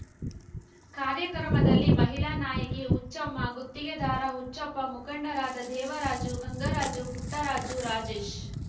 ಕಾರ್ಯಕ್ರಮದಲ್ಲಿ ಮಹಿಳಾ ನಾಯಕಿ ಹುಚ್ಚಮ್ಮ ಗುತ್ತಿಗೆದಾರ ಹುಚ್ಚಪ್ಪ ಮುಖಂಡರಾದ ದೇವರಾಜು ಗಂಗರಾಜು ಪುಟ್ಟರಾಜು ರಾಜೇಶ್